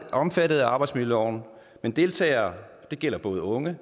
omfattet af arbejdsmiljøloven men deltagerne det gælder både unge